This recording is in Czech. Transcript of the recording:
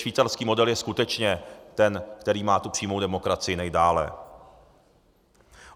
Švýcarský model je skutečně ten, který má tu přímou demokracii nejdále.